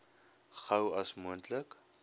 gou as moontlik